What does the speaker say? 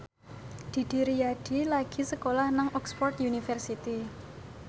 Didi Riyadi lagi sekolah nang Oxford university